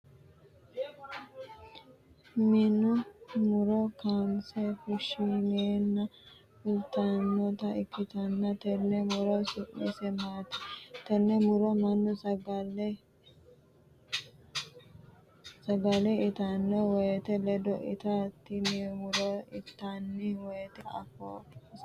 Minni muro kaanse fushineenna fultanota ikitanna tenne muro su'mise maati? Tenne muro mannu sagale itano woyete ledo itanno tinni muro itanni woyete afoo hiisitano?